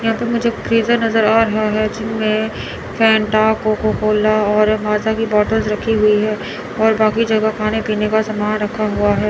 यहां पे मुझे फ्रीजर नजर आ रहा है जिनमें फेंटा कोकोकोला और यहां माजा कि बॉटल रखी हुई है और बाकी जगह खाने पीने का सामान रखा हुआ है।